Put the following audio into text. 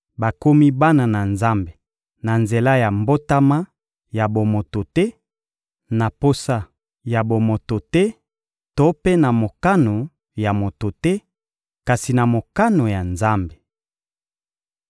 Bakomi bana na Nzambe na nzela ya mbotama ya bomoto te, na posa ya bomoto te to mpe na mokano ya moto te, kasi na mokano ya Nzambe.